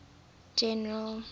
general